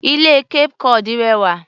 Ilé Cape cod rẹwà.